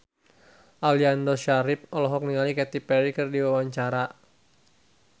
Aliando Syarif olohok ningali Katy Perry keur diwawancara